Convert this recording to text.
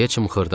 Deyə çımxırdım.